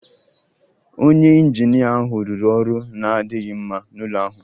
Onye injinia ahụ rụrụ ọrụ na-adịghị mma n'ụlọ ahụ